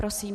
Prosím.